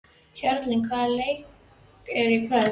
Hjörleif, hvaða leikir eru í kvöld?